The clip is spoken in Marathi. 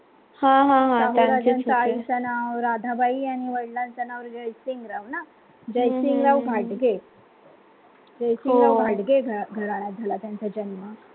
हा हा हा त्यांचेच होते, शाहू राजांच्या आईचं नाव राधाबाई आणि वडिलांचं नाव जयसिंगराव ना जयसिंगराव घाटगे जयसिंगराव घाटगे घ घराण्यात झाला त्यांचा जन्म